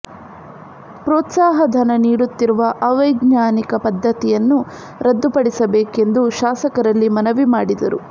ಪ್ರೋತ್ಸಾಹ ಧನ ನೀಡುತ್ತಿರುವ ಅವೈಜ್ಞಾನಿಕ ಪದ್ದತಿಯನ್ನು ರದ್ದು ಪಡಿಸಬೇಕೆಂದು ಶಾಸಕರಲ್ಲಿ ಮನವಿ ಮಾಡಿದರು